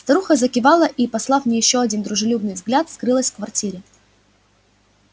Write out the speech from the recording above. старуха закивала и послав мне ещё один дружелюбный взгляд скрылась в квартире